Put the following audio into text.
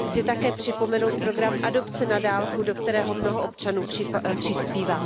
Chci také připomenout program adopce na dálku, do kterého mnoho občanů přispívá.